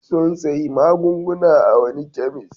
Sun sayi magunguna a wani kemis.